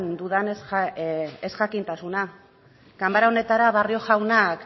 dudan ezjakintasuna kamara honetara barrio jaunak